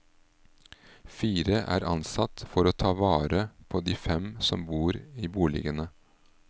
Fire er ansatt for å ta vare på de fem som bor i boligene.